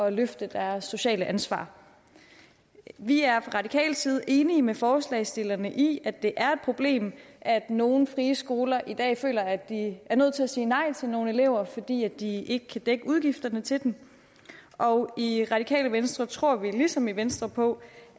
at løfte deres sociale ansvar vi er fra radikal side enige med forslagsstillerne i at det er et problem at nogle frie skoler i dag føler at de er nødt til at sige nej til nogle elever fordi de ikke kan dække udgifterne til dem og i radikale venstre tror vi ligesom i venstre på